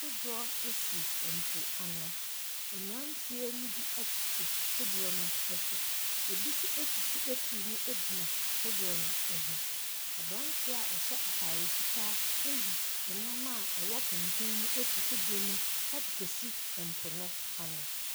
Kodoɔ si mpoano. Mmeranteɛ no bi tete kodoɔ no so. Ɛbi nso sisi afiri mu gyina kodoɔ no ho. Aberanteɛ a ɔhyɛ atade fitaa ayi nam a ɛwɔ kɛntɛn afiri kodoɔ no mu de rekɔsi po no ano.